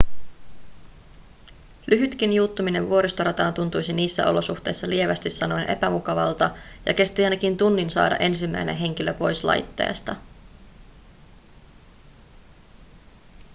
lyhytkin juuttuminen vuoristorataan tuntuisi niissä olosuhteissa lievästi sanoen epämukavalta ja kesti ainakin tunnin saada ensimmäinen henkilö pois laitteesta